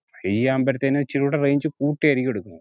ചെയ്യാൻപറ്റാതിനും ഇച്ചിരി ഊട range കൂട്ടിയായിരിക്കും എടുക്കും